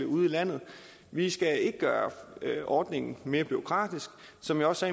ude i landet vi skal ikke gøre ordningen mere bureaukratisk som jeg også